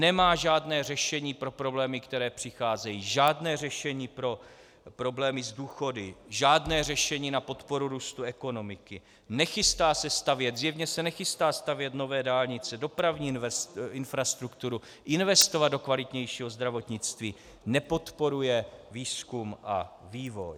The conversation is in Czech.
Nemá žádné řešení pro problémy, které přicházejí, žádné řešení pro problémy s důchody, žádné řešení na podporu růstu ekonomiky, nechystá se stavět, zjevně se nechystá stavět nové dálnice, dopravní infrastrukturu, investovat do kvalitnějšího zdravotnictví, nepodporuje výzkum a vývoj.